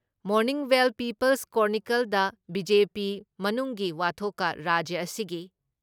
morning Bell Peoples ꯀ꯭ꯔꯣꯅꯤꯀꯜꯁꯗ BJP ꯃꯅꯨꯡꯒꯤ ꯋꯥꯊꯣꯛꯀ ꯔꯥꯖ꯭ꯌ ꯑꯁꯤꯒꯤ